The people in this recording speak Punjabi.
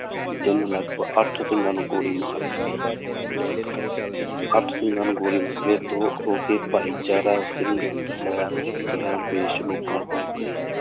ਜਿਹਨੇ ਲਗਪਗ ਅੱਠ ਸਿੰਘਾਂ ਨੂੰ ਗੋਲੀ ਮਾਰ ਦਿੱਤੀ ਅੱਠ ਸਿੰਘਾਂ ਨੂੰ ਗੋਲੀ ਹੋ ਕੇ ਭਾਈਚਾਰਾ ਸਿੰਘ ਸਹਿਬ ਚਲਾਣ ਪੇਸ਼ ਲੋਕਾਂ ਕੋਲ ਗਏ